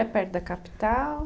É perto da capital?